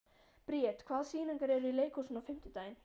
Briet, hvaða sýningar eru í leikhúsinu á fimmtudaginn?